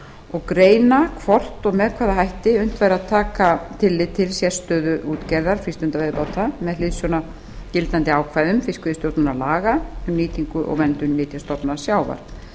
og greina hvort og með hvaða hætti unnt væri að taka tillit til sérstöðu útgerðar frístundaveiðibáta með hliðsjón af gildandi ákvæðum fiskveiðistjórnarlaga um nýtingu og verndun nytjastofna sjávar